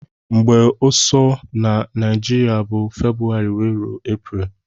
Mgbe ọsọ na naijiria bu february wee rue apriel.